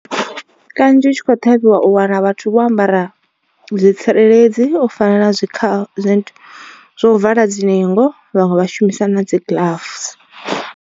Kanzhi u tshi kho ṱhavhiwa u wana vhathu vho ambara zwitsireledzi u fana na zwi kha zwinthu zwo vala dzi ningo vhaṅwe vha shumisa na dzi gloves.